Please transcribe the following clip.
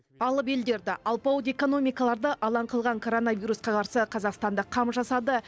алып елдерді алпауыт экономикаларды алаң қылған коронавирусқа қарсы қазақстан да қам жасады